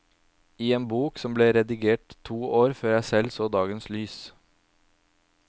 I en bok som ble redigert to år før jeg selv så dagens lys.